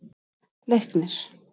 Leiknir